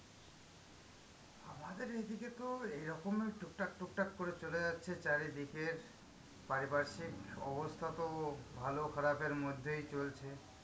আমাদের এইদিকে তো এইরকমই টুকটাক টুকটাক করে চলে যাচ্ছে চারিদিকের পারিপার্শ্বিক অবস্থা তো ভালো খারাপের মধ্যেই চলছে,